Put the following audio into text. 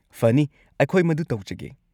ꯐꯅꯤ, ꯑꯩꯈꯣꯏ ꯃꯗꯨ ꯇꯧꯖꯒꯦ꯫